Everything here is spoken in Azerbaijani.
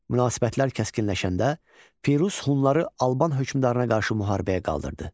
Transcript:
Münasibətlər kəskinləşəndə Firuz hunları Alban hökmdarına qarşı müharibəyə qaldırdı.